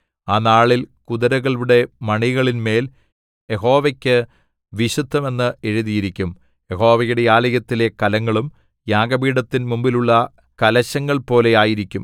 ആ നാളിൽ കുതിരകളുടെ മണികളിന്മേൽ യഹോവയ്ക്കു വിശുദ്ധം എന്ന് എഴുതിയിരിക്കും യഹോവയുടെ ആലയത്തിലെ കലങ്ങളും യാഗപീഠത്തിൻ മുമ്പിലുള്ള കലശങ്ങൾപോലെ ആയിരിക്കും